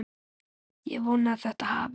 Ég vona að þetta hafist.